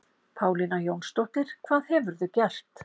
Pálína Jónsdóttir, hvað hefurðu gert?